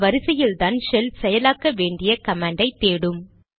இந்த வரிசையில்தான் ஷெல் செயலாக்க வேண்டிய கமாண்டை தேடும்